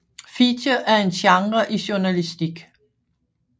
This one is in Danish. Feature er en genre i journalistik